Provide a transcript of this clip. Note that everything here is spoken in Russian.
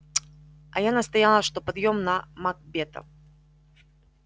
а я настояла что пойдём на макбета